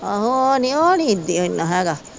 ਆਹੋ ਉਹ ਨਹੀਂ ਉਹ ਨਹੀਂ ਏਦੀ ਇਹ ਨਾ ਹੇਗਾ।